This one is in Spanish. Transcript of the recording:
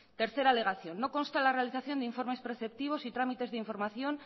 tercera alegación no consta en la realización de informes preceptivos y trámites de información